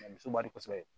muso ka di kosɛbɛ